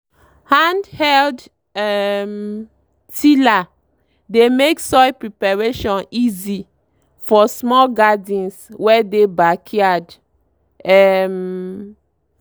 hand-held um tiller dey make soil preparation easy for small gardens wey dey backyard. um